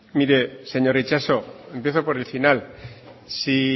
mire señor itxaso empiezo por el final si